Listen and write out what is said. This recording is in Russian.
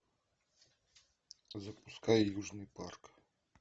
запускай южный парк